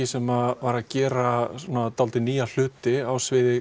sem var að gera nýja hluti á sviði